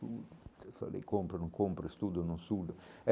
Falei, compro, não compro, estudo no sul.